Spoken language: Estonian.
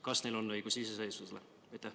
Kas neil on õigus iseseisvusele?